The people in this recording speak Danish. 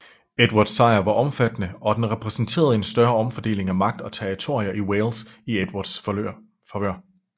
Edvards sejr var omfattende og den repræsenterede en større omfordeling af magt og territorier i Wales i Edvards favør